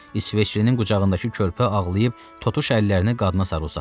İsveçlinin qucağındakı körpə ağlayıb totuş əllərini qadına sarı uzatdı.